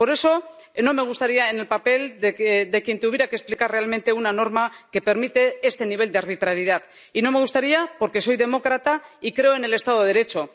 Por eso, no me gustaría estar en el papel de quien tuviera que explicar realmente una norma que permite este nivel de arbitrariedad, y no me gustaría porque soy demócrata y creo en el Estado de Derecho.